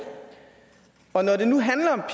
og når det nu handler om